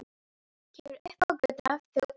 Kemur upp á götuna fyrir ofan.